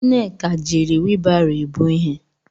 Nneka jiri wheelbarrow ebu ihe.